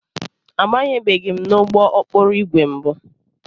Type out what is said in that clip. Abanyebeghị m n'ụgbọ okporo ígwè mbụ.